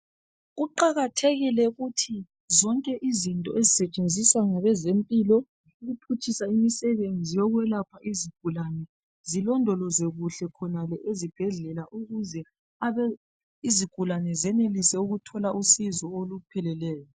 Kuqakathekile ukuthi zonke izinto ezisetshenziswa ngabe zempilo ukuphutshisa imisebenzi yokwelapha izigulane zilondolozwe kuhle khonale ezibhedlela ukuze izigulane zenelise ukuthola usizo olupheleleyo.